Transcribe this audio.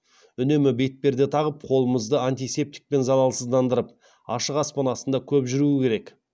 үнемі бетперде тағып қолымызды антисептикпен залалсыздандырып ашық аспан астында көп жүру керек